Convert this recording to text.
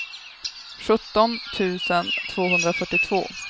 sjutton tusen tvåhundrafyrtiotvå